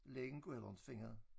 Lægen kunne heller inte finde det